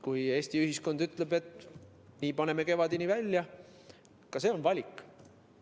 Kui Eesti ühiskond ütleb, et paneme nii kevadeni välja, siis ka see on valik.